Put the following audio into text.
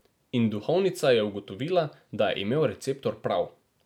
In duhovnica je ugotovila, da je imel receptor prav.